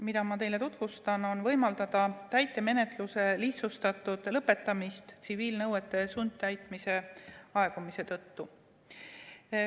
Ma tutvustan teile eelnõu, mille eesmärk on võimaldada täitemenetluse lihtsustatud lõpetamist tsiviilnõuete sundtäitmise aegumise tõttu.